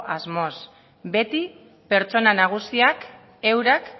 asmoz beti pertsonak nagusiak eurak